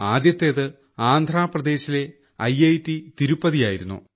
ആദ്യത്തേത് ആന്ധ്രാപദേശിലെ central university Tirupati ആയിരുന്നു